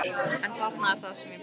En þarna er það sem ég bregst.